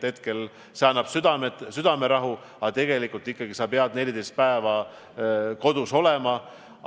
Hetkel annab see südamerahu, aga tegelikult pead sa ikkagi 14 päeva kodus olema.